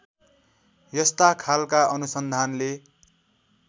यस्ता खालका अनुसन्धानले